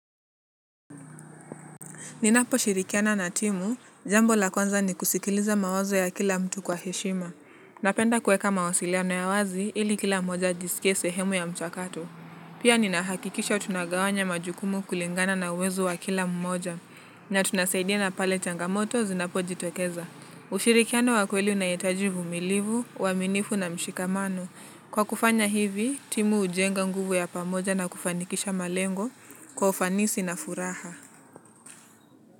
Ninaposhirikiana na timu, jambo la kwanza ni kusikiliza mawazo ya kila mtu kwa heshima. Napenda kueka mawasiliano ya wazi ili kila mmoja ajisikie sehemu ya mchakato. Pia ninahakikisha tunagawanya majukumu kulingana na uwezo wa kila mmoja. Na tunasaidiana pale changamoto zinapojitokeza. Ushirikiano wa kweli unahitaji uvumilivu, uaminifu na mshikamano. Kwa kufanya hivi, timu hujenga nguvu ya pamoja na kufanikisha malengo kwa ufanisi na furaha.